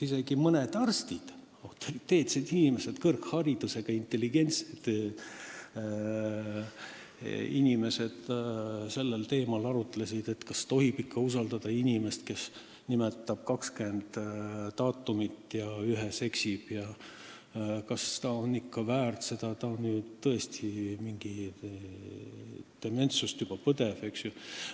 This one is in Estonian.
Isegi mõned arstid, autoriteetsed, kõrgharidusega, intelligentsed inimesed, arutlesid sellel teemal, kas tohib usaldada inimest, kes nimetab 20 daatumit ja ühega eksib – kas ta ikka oleks seda kohta väärt, ta ju põeb juba dementsust.